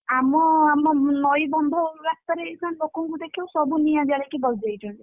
ଆମ ନଈ ବନ୍ଧ ରାସ୍ତାରେ ଏଇନା ଲୋକଙ୍କୁ ଦେଖିବୁ ସବୁ ନିଆଁ ଜାଳିକି ବସିଯାଇଛନ୍ତି।